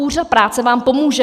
Úřad práce vám pomůže.